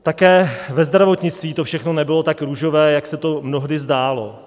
Také ve zdravotnictví to všechno nebylo tak růžové, jak se to mnohdy zdálo.